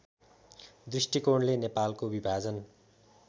दृष्टिकोणले नेपालको विभाजन